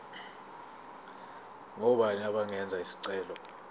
ngobani abangenza isicelo